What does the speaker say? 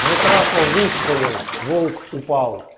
митраша выстрелил волк упал